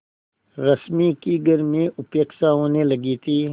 रश्मि की घर में उपेक्षा होने लगी थी